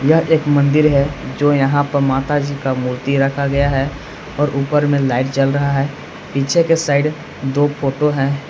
यह एक मंदिर है जो यहां पर माता जी का मूर्ती रखा गया है और ऊपर मे लाइट जल रहा है पीछे की साइड दो फोटो है।